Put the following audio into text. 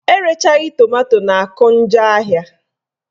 Erechaghị tomanto na-akụ njọ ahịa